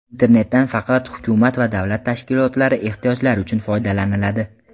Internetdan faqat hukumat va davlat tashkilotlari ehtiyojlari uchun foydalaniladi.